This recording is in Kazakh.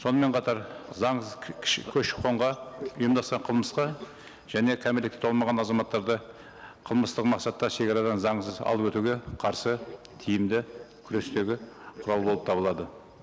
сонымен қатар заң көші қонға ұйымдасқан қылмысқа және кәмелетке толмаған азаматтарды қылмыстық мақсатта шекарадан заңсыз алып өтуге қарсы тиімді күрестегі құрал болып табылады